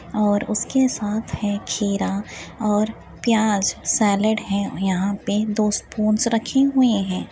और उसके साथ है खीरा और प्याज सलाद है यहाँ पे दो स्पूंस रखी हुई हैं।